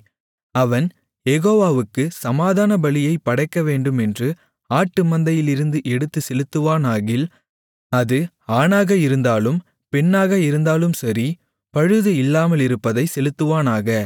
அவன் யெகோவாவுக்குச் சமாதானபலியைப் படைக்கவேண்டுமென்று ஆட்டு மந்தையிலிருந்து எடுத்துச் செலுத்துவானாகில் அது ஆணாக இருந்தாலும் பெண்ணாக இருந்தாலும் சரி பழுது இல்லாமலிருப்பதைச் செலுத்துவானாக